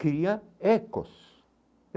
Cria Ecos.